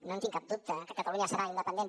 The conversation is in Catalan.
no en tinc cap dubte que catalunya serà independent